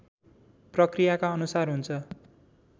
प्रक्रियाका अनुसार हुन्छ